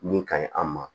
Min ka ɲi an ma